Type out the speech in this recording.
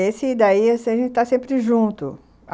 Esse daí, a gente está sempre junto.